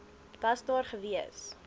was daar gewees